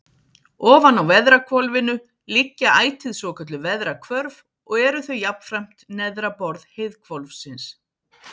Ofan á veðrahvolfinu liggja ætíð svokölluð veðrahvörf og eru þau jafnframt neðra borð heiðhvolfsins.